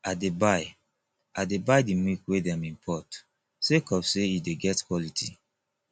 i dey buy i dey buy di milk wey dem import sake of sey e dey get quality